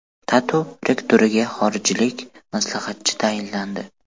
TATU rektoriga xorijlik maslahatchi tayinlandi.